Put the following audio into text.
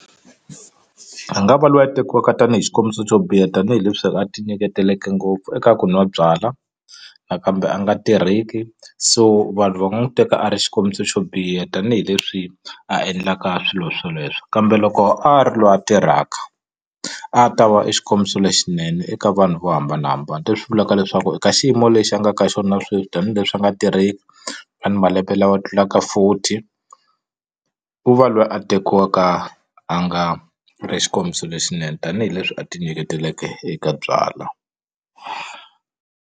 A nga va loyi a tekiwaka tanihi xikombiso xo biha tanihileswi a ti nyiketeleke ngopfu eka ku nwa byala nakambe a nga tirheki so vanhu va nga n'wu teka a ri xikombiso xo biha tanihileswi a endlaka swilo swoleswo kambe loko a ri loyi a tirhaka a ta va e xikombiso lexinene eka vanhu vo hambanahambana leswi vulaka leswaku eka xiyimo lexi a nga ka xona sweswi tanihileswi a nga tirheki a ri ni malembe lawa tlulaka forty u va loyi a tekiwaka a nga ri xikombiso lexinene tanihileswi a ti nyiketeleke eka byala.